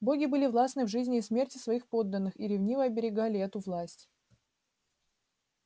боги были властны в жизни и смерти своих подданных и ревниво оберегали эту власть